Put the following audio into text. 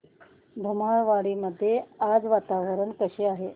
धुमाळवाडी मध्ये आज वातावरण कसे आहे